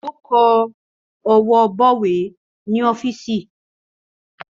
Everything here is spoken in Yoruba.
Ó kọwọ́ bọ̀wé ní ọ́fíìsì